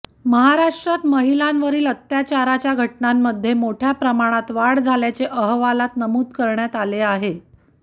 महाराष्ट्रात महिलांवरील अत्याचाराच्या घटनांमध्ये मोठ्या प्रमाणात वाढ झाल्याचे अहवालात नमूद करण्यात आले आहे